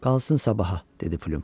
Qalsın sabaha, dedi Plyum.